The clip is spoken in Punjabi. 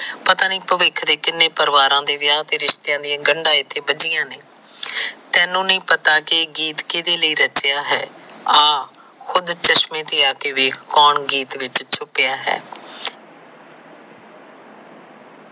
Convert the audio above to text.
ਪਤਾ ਨੀ ਪਵਿੱਖ ਦੇ ਕਿੰਨੇ ਪਰਿਵਾਰ ਦੇ ਵਿਆਹ ਤੇ ਰਿਸ਼ਤਿਆਂ ਦੀਆਗੰਡਾ ਇਥੇ ਬੱਜਿਆਂ ਨੇ ਤੈਨੂੰ ਨਹੀਂ ਪਤਾ ਕਿ ਇਹ ਗੀਤ ਕੀੜੇ ਲਯੀ ਰਚਿਆ ਹੈ ਆਹ ਖੁਦ ਚਸ਼ਮੇ ਤੇ ਆਕੇ ਵੇਖ ਕੌਣ ਗੀਤ ਵਿਚ ਛੁਪਿਆ ਹੈ।